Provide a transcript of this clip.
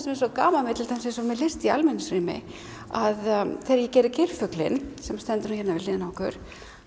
svo gaman með til dæmis list í almenningsrými að þegar ég geri geirfuglinn sem stendur nú hér við hliðina á okkur